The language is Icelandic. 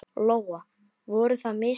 Lóa: Voru það mistök?